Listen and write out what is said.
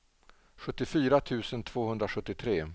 sjuttiofyra tusen tvåhundrasjuttiotre